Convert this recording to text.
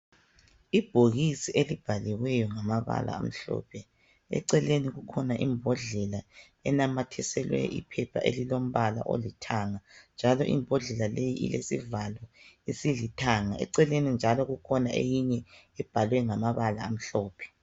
Ibhokisi elibhaliweyo ngamabala amhlophe eceleni kukhona imbodlela enamathiselwe iphepha elilombala olithanga njalo imbodlela leyi ilesivalo esilithanga eceleni njalo kukhona eyinye ebhalwe ngamabala amhlophe.